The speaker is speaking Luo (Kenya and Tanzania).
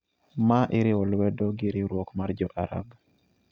ma iriwo lwedo gi Riwruok mar Jo-Arab.